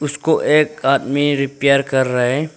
उसको एक आदमी रिपेयर कर रहा है।